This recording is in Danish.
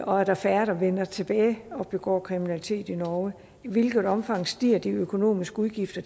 og er der færre der vender tilbage og begår kriminalitet i norge i hvilket omfang stiger de økonomiske udgifter